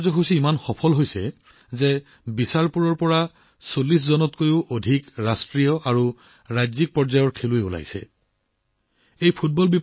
এই কাৰ্যসূচী ইমানেই সফল হৈছে যে বিচাৰপুৰৰ পৰা ৪০ জনতকৈও অধিক ৰাষ্ট্ৰীয় আৰু ৰাজ্যিক পৰ্যায়ৰ খেলুৱৈৰ উন্মেষ ঘটিছে